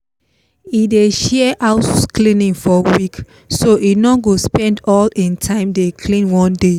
e dey share house cleaning for week so e no go spend all hin time dey clean one day